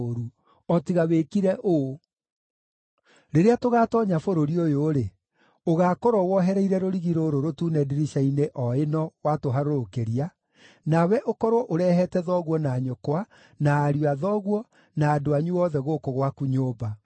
o tiga wĩkire ũũ: rĩrĩa tũgaatoonya bũrũri ũyũ-rĩ, ũgaakorwo wohereire rũrigi rũrũ rũtune ndirica-inĩ o ĩno watũharũrũkĩria, nawe ũkorwo ũrehete thoguo na nyũkwa, na ariũ a thoguo, na andũ anyu othe gũkũ gwaku nyũmba.